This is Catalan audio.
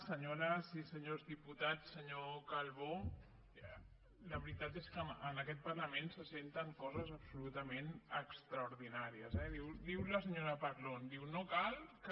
senyores i senyors diputats senyor calbó la veritat és que en aquest parlament se senten coses absolutament extraordinàries eh diu la senyora parlon diu no cal que